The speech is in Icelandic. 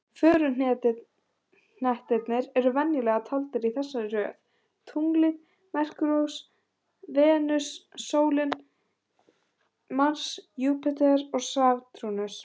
Föruhnettirnir eru venjulega taldir í þessari röð: Tunglið, Merkúríus, Venus, sólin, Mars, Júpíter og Satúrnus.